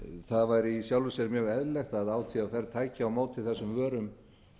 það væri í sjálfu sér mjög eðlilegt að átvr tæki á móti þessum vörum